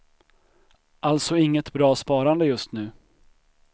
Alltså inget bra sparande just nu.